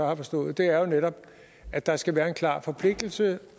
har forstået er jo netop at der skal være en klar forpligtelse